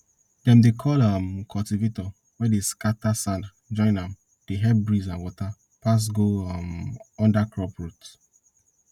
dem dey call um cultivator wey dey scatter sand join am dey help breeze and water pass go um under crop root